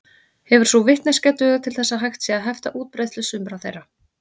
Hefur sú vitneskja dugað til þess að hægt sé að hefta útbreiðslu sumra þeirra.